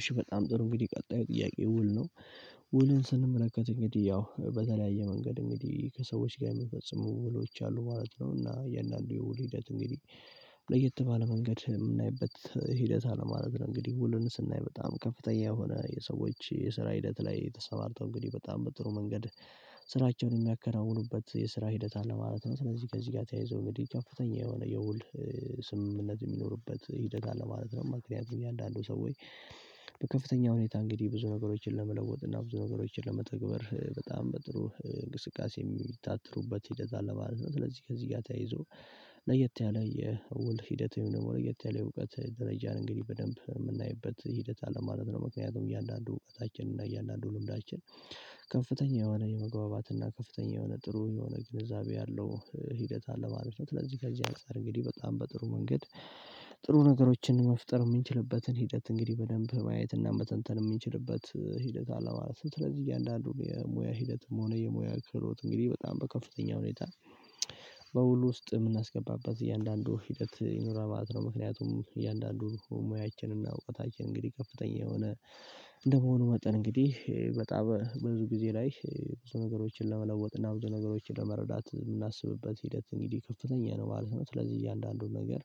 እሺ በጣም ጥሩ እንግዲህ ቀጣይ ጥያቄ ውል ነው። ውሉን ስንመለከት እንግዲህ ያው በተለያየ መንገድ እንግዲህ ከሰዎች ጋር የምንፈጽሙ ውሎች አሉ ማለት ነው። እና የእያንዳንዱ የውል ሂደት እንግዲህ ለየት ባለ መንገድ የምናይበት ሂደት አለ ማለት ነው። እንግዲህ ሁሉንም ስናይ በጣም ከፍተኛ የሆነ የሰዎች የስራ ሂደት ላይ ተሰማርተው እንግዲህ በጣም በጥሩ መንገድ ስራቸውን የሚያከናውኑበት የስራ ሂደት አለ ማለት ነው። ስለዚህ ከዚህ ጋር ተያይዞ እንግዲህ ከፍተኛ የሆነ የውል ስምምነት የሚኖርበት ህደት አለ ማለት ነው። ምክንያቱም ያንዳንዱ ሰዎች በከፍተኛ ሁኔታ እንግዲህ ብዙ ነገሮችን ለመለወጥ እና ብዙ ነገሮችን ለመተግበር በጣም በጥሩ እንቅስቃሴ የሚታተሩበት ሂደት አለ ማለት ነው። ስለዚህ ከዚህ ጋር ተያይዞ ለየት ያለ የውል ሂደት ወይም ደሞ የተለየ እውቀት ደረጃን እንግዲህ በደንብ የምናይበት ሂደት አለ ማለት ነው። ምክንያቱም እያንዳንዱ እውቀታችን እና እያንዳንዱ ልምዳችን ከፍተኛ የሆነ የመግባባት እና ከፍተኛ የሆነ ጥሩ የሆነ ግንዛቤ ያለው ሂደት አለ ማለት ነው። ስለዚህ ከዚህ አንፃር እንግዲህ በጣም በጥሩ መንገድ ጥሩ ነገሮችን መፍጠር የምንችልበትን ሂደት እንግዲህ በደንብ ማየት እና በተንተን የሚችልበት ሂደት አለ ማለት ነው። ስለዚህ እያንዳንዱ የሙያ ሂደትም ሆነ የሙያ ክህሎት እንግዲህ በጣም በከፍተኛ ሁኔታ በውሉ ውስጥ የምናስገባባት እያንዳንዱ ሂደት ይኖራል ማለት ነው። ምክንያቱም እያንዳንዱ ሙያችንና እውቀታችን እንግዲህ ከፍተኛ የሆነ እንደመሆኑ መጠን እንግዲህ በጣም ብዙ ጊዜ ላይ ብዙ ነገሮችን ለመለወጥ እና ብዙ ነገሮችን ለመረዳት የምናስብበት ሂደት እንግዲህ ከፍተኛ ነው ማለት ነው። ስለዚህ እያንዳንዱን ነገር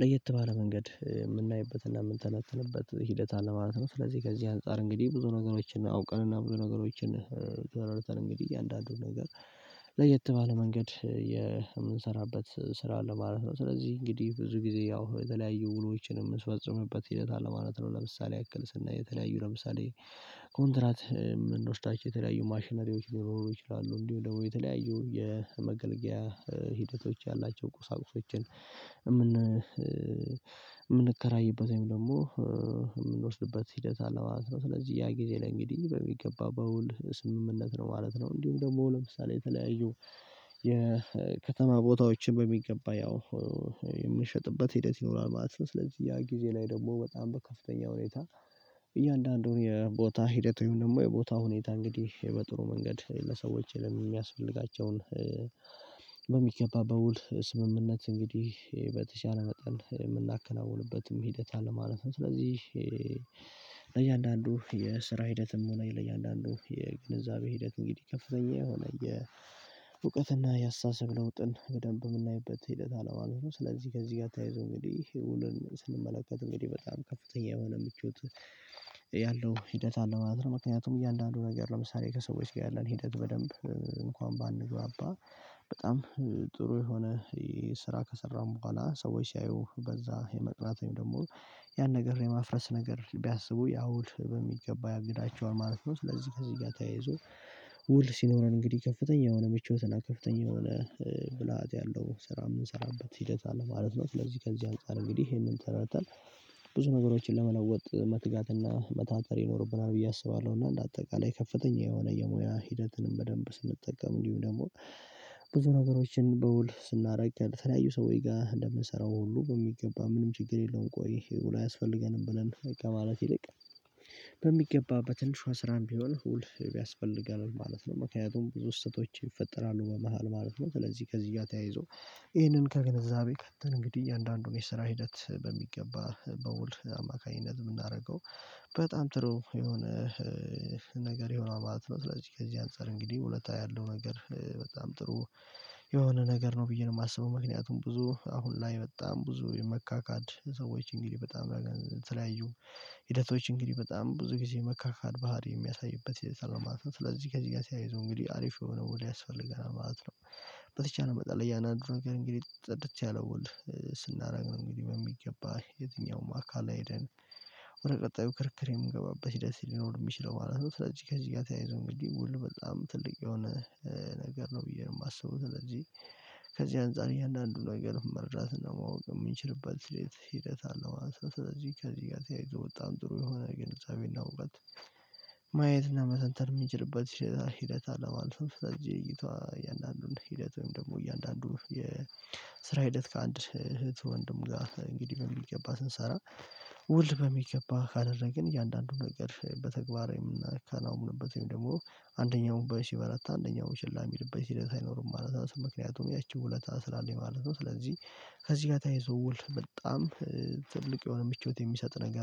ለየት ባለ መንገድ የምናይበትና የምንተነተንበት ሂደት አለ ማለት ነው። ስለዚህ ከዚህ አንፃር እንግዲህ ብዙ ነገሮችን አውቀንና ብዙ ነገሮችን ተወራርተን እንግዲህ እያንዳንዱን ነገር ለየት ባለ መንገድ የምንሰራበት ስራ አለ ማለት ነው። ስለዚህ እንግዲህ ብዙ ጊዜ ያው የተለያዩ ውሎችን የምትፈጽምበት ሂደት አለ ማለት ነው። ለምሳሌ ያክል ስናይ የተለያዩ ለምሳሌ ኮንትራት ምኖስዳቸው የተለያዩ ማሽናሪዎች ሊሆኑ ይችላሉ እንዲሁ ደግሞ የተለያዩ የመገልገያ ሂደቶች ያላቸው ቁሳቁሶችን የምን ምንከራይበት ወይም ደግሞ የምንወስድበት ሂደት አለው ማለት ነው። ስለዚህ ያ ጊዜ ላይ እንግዲህ በሚገባ በውል ስምምነት ነው ማለት ነው። እንዲሁም ደግሞ ለምሳሌ የተለያዩ የከተማ ቦታዎችን በሚገባ ያው የምንሸጥበት ሂደት ይኖራል ማለት ነው። ስለዚህ ያ ጊዜ ላይ ደግሞ በጣም በከፍተኛ ሁኔታ እያንዳንዱን የቦታ ሂደቱ ይሁን ደግሞ የቦታ ሁኔታ እንግዲህ በጥሩ መንገድ ለሰዎች የሚያስፈልጋቸውን በሚገባ በውል ስምምነት እንግዲህ በተሻለ መጠን የምናከናውንበትም ሂደት አለ ማለት ነው። ስለዚህ ለእያንዳንዱ የስራ ሂደትም ሆነ የእያንዳንዱ የግንዛቤ ሂደት እንግዲህ ከፍተኛ የሆነ የእውቀትና የአስተሳሰብ ለውጥን በደንብ የምናይበት ሂደት አለ ማለት ነው። ስለዚህ ከዚህ ጋር ታይዞ እንግዲህ ውልን ስንመለከት እንግዲህ በጣም ከፍተኛ የሆነ ምቾት ያለው ሂደት አለው ማለት ነው። ምክንያቱም እያንዳንዱ ነገር ለምሳሌ ከሰዎች ጋር ያለን ሂደት በደንብ እንኳን ባንግባባ በጣም ጥሩ የሆነ የስራ ከሰራን በኋላ ሰዎች ሲያዩህ በዛ የመቅራት ወይም ደግሞ ያን ነገር የማፍረስ ነገር ቢያስቡ ያው ውል በሚገባ ያግዳቸውን ማለት ነው። ለዚህ ከዚህ ጋር ተያይዞ ውል ሲኖረን እንግዲህ ከፍተኛ የሆነ ምቾትና ከፍተኛ የሆነ ብልሃት ያለው ስራ የምንሰራበት ሂደት አለ ማለት ነው። ስለዚህ ከዚህ አንፃር እንግዲህ ይሄንን ተረድተን ብዙ ነገሮችን ለመለወጥ መትጋትና መታተር ይኖርብናል ብዬ አስባለሁ። እና እንደ አጠቃላይ ከፍተኛ የሆነ የሙያ ሂደትንም በደንብ ስንጠቀም እንዲሁ ደግሞ ብዙ ነገሮችን በውል ስናረጋግ በተለያዩ ሰውዬ ጋር እንደምንሰራው ሁሉ በሚገባ ምንም ችግር የለውም። ቆይ ይሄ ውሎ አያስፈልገንም ብለን በቃ ማለት ይልቅ በሚገባበት በትንሿ ስራም ቢሆን ሁል ያስፈልጋል ማለት ነው። ምክንያቱም ብዙ ስህተቶች ይፈጠራሉ በመሃል ማለት ነው ስለዚህ ከዚያ ተያይዞ ይሄንን ከገነዛቤ ከትን እንግዲህ እያንዳንዱን የሰራ ሂደት በሚገባ በውል አማካኝነት የምናደርገው በጣም ጥሩ የሆነ ነገር የሆነው ማለት ነው። ስለዚህ ከዚህ አንፃር እንግዲህ ውለታ ያለው ነገር በጣም ጥሩ የሆነ ነገር ነው ብዬ ነው የማስበው ምክንያቱም ብዙ አሁን ላይ በጣም ብዙ የመካካድ ሰዎች እንግዲህ በጣም የተለያዩ ሂደቶች እንግዲህ በጣም ብዙ ጊዜ መካካድ ባህሪ የሚያሳይበት ሂደት ነው ማለት ነው። ስለዚህ ከዚህ ጋር ተያይዘው እንግዲህ አሪፍ የሆነው ውል ያስፈልገናል ማለት ነው። በተቻለ መጠን ለያንዳንዱ ነገር እንግዲህ ጽድት ያለው ውል ስናረግ ነው እንግዲህ በሚገባ የትኛውም አካል አይደን ወደ ቀጣዩ ክርክር የምገባበት ህደት ልኖር የሚችለው ማለት ነው። ስለዚህ ከዚህ ጋር ተያይዞ እንግዲህ ውል በጣም ትልቅ የሆነ ነገር ነው ብዬ የማስበው። ስለዚህ ከዚህ አንፃር እያንዳንዱን ነገር መረዳት እና ማወቅ የምንችልበት ሂደት አለው ማለት ነው። ስለዚህ ከዚህ ጋር ተያይዞ በጣም ጥሩ የሆነ ግንዛቤን እውቀት መተንተን ሚንችልበት ሂደት አለ ማለት ነው። ስለዚህ እይቱዎ እያንዳንዱን ሂደት ወይም ደግሞ እያንዳንዱ የስራ ሂደት ከአንድ እህት ወንድም ጋር እንግዲህ በሚገባ ስንሰራ ውል በሚገባ ካደረግን እያንዳንዱን ነገር በተግባር የምናከናውንበት ወይም ደግሞ አንደኛው ሲበረታ አንደኛው ችላ የሚልበት ሲል ሳይኖር ማለት ነው። ምክንያቱም ያቺ ውለታ ስላለኝ ማለት ነው። ስለዚህ ከዚህ ጋር ተያይዞ ወል በጣም ትልቅ የሆነ ምቾት የሚሰጥ ነገር